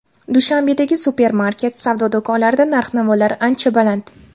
Dushanbedagi supermarket, savdo do‘konlarida narx-navolar ancha baland.